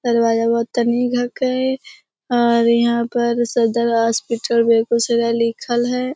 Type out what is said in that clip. दरवाजा बहोत तनी गो का है और यहाँ पर सदर हॉस्पिटल बेगुसराय लिखल हेय।